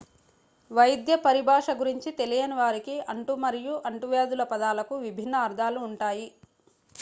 వైద్య పరిభాష గురించి తెలియని వారికి అంటు మరియు అంటువ్యాధుల పదాలకు విభిన్న అర్థాలు ఉంటాయి